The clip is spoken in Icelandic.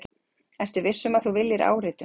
Ertu viss um að þú viljir áritun?